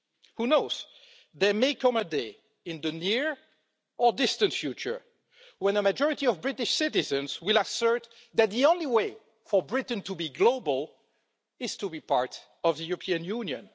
Who knows, there may come a day in the near, or distant, future when the majority of British citizens will assert that the only way for Britain to be global is to be part of the European Union.